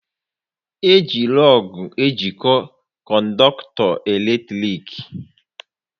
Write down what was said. Eji lọọgụ ejiko kọndọktọ eletrik